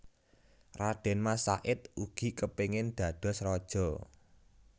Radén Mas Said ugi kepingin dados raja